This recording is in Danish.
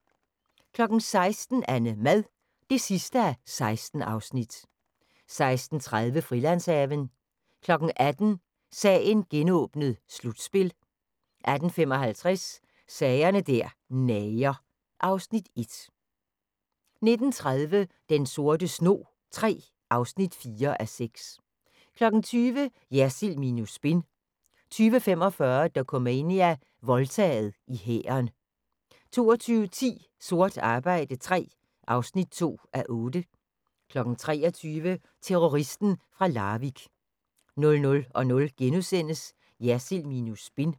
16:00: AnneMad (16:16) 16:30: Frilandshaven 18:00: Sagen genåbnet: Slutspil 18:55: Sager der nager (Afs. 1) 19:30: Den sorte snog III (4:6) 20:00: Jersild minus spin 20:45: Dokumania: Voldtaget i hæren 22:10: Sort arbejde III (2:8) 23:00: Terroristen fra Larvik 00:00: Jersild minus spin *